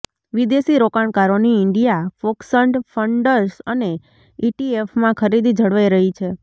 વિદેશી રોકાણકારોની India focused funds અને ઈટીએફમાં ખરીદી જળવાઈ રહી છે